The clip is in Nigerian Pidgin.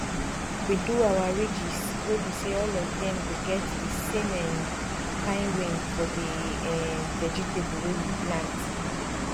we do our ridges we be say all of them go get the same um kind rain for the um vegetable wey we plant